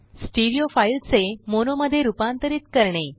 stereo फाईलचेमोनोमध्ये रुपांतरीत करणे